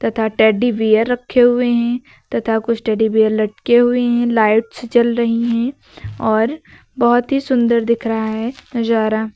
तथा teddy bear रखे हुए हैं तथा कुछ टेडी बेयर लटके हुए हैं लाइटस जल रही हैं और बहुत ही सुंदर दिख रहा है नजारा।